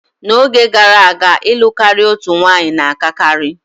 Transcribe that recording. N'oge gara aga, ịlụ karịa otu nwanyị na-akakarị.